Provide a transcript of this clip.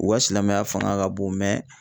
U ka silamɛya fanga ka bon mɛ